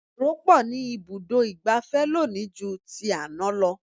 Èrò pọ̀ ní ibùdó ìgbafẹ́ lónìí ju ti àná lọ.